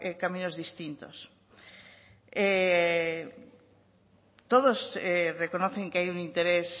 caminos distintos todos reconocen que hay un interés